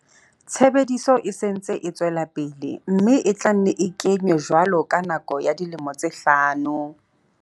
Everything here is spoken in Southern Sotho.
Tshebediso e se e ntse e tswela pele mme e tla nne e ke nywe jwalo ka nako ya dilemo tse hlano.